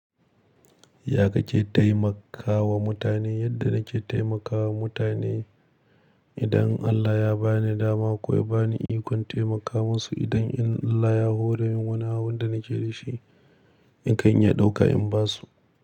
Ya ka ke taimakawa mutane? Yadda nake taimakawa mutane idan Allah ya ba ni dama ko ya ba ni ikon taimaka musu idan Allah ya horemun wani abun da nake da shi, in kan iya ɗauka in basu.